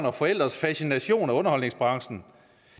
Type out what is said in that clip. og forældres fascination af underholdningsbranchen